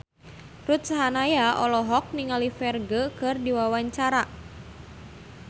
Ruth Sahanaya olohok ningali Ferdge keur diwawancara